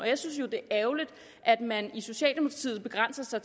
jeg synes jo det er ærgerligt at man i socialdemokratiet begrænser